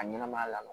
A ɲɛnɛmaya la